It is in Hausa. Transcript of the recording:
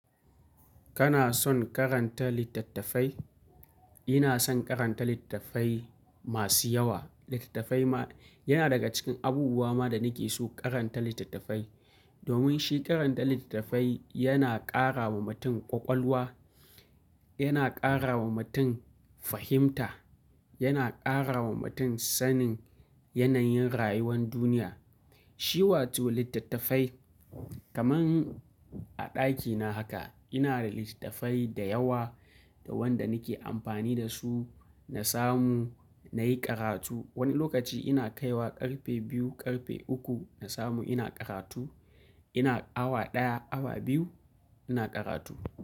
Kana son karanta littattafai? Ina son karanta littattafai masu yawa. Littattafai ma yana daga cikin abubuwa ma da nake so karanta littattafai. Domin shi karanta littattafai yana ƙara wa mutum ƙwaƙwalwa, yana ƙara wa mutum fahimta, yana ƙara wa mutum sanin yanayin rayuwar duniya. Shi wato littattafai kaman a ɗakina haka ina da littattafai da yawa da wanda nake amfani da su na samu nayi karatu. Wani lokaci ina kaiwa ƙarfe biyu, ƙarfe uku na samu ina karatu. Ina awa ɗaya, awa biyu ina karatu.